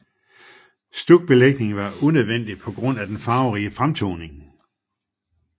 Stukbelægning var unødvendig på grund af den farverige fremtoning